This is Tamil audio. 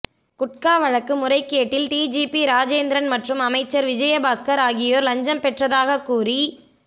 குட்கா வழக்கு முறைகேட்டில் டிஜிபி ராஜேந்திரன் மற்றும் அமைச்சர் விஜயபாஸ்கர் ஆகியோர் லஞ்சம் பெற்றதாக கூறி